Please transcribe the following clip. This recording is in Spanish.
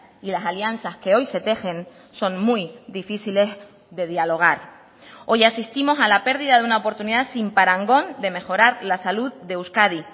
y las alianzas que hoy se tejen son muy difíciles de dialogar hoy asistimos a la pérdida de una oportunidad sin parangón de mejorar la salud de euskadi